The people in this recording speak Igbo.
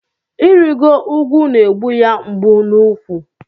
Irigo ugwu n'egbu ya mgbu n'úkwu.